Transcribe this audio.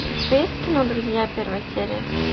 у тебя есть кино друзья первая серия